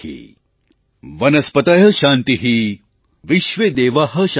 वनस्पतयः शान्तिः विश्वेदेवाः शान्तिः ब्रह्म शान्तिः